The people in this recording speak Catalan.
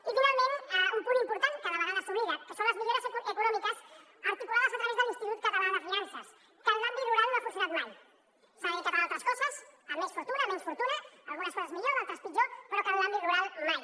i finalment un punt important que de vegades s’oblida que són les millores econòmiques articulades a través de l’institut català de finances que en l’àmbit rural no ha funcionat mai s’ha dedicat a altres coses amb més fortuna amb menys fortuna algunes coses millor d’altres pitjor però que en l’àmbit rural mai